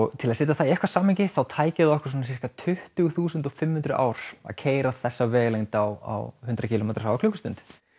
til að setja það í eitthvert samhengi þá tæki það okkur sirka tuttugu þúsund fimm hundruð ár að keyra þessa vegalengd á hundrað kílómetra hraða á klukkustund